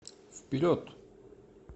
вперед